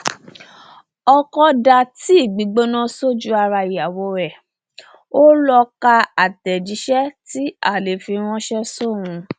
ọkọ dá tíì gbígbóná sójú ara ìyàwó ẹ ó lọ ka àtẹjíṣẹ tí alẹ fi ránṣẹ sóun